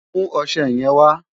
Mú ọṣẹ yẹn wà!